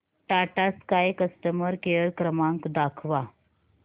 Tata sky customer care क्रमांक दाखवा